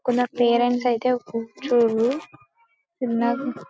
కొందరు పేరెంట్స్ అయితే కూర్చోరు --]